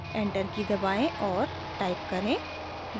enter की दबाएं और टाइप करें: